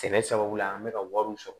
Sɛnɛ sababu la an bɛ ka wariw sɔrɔ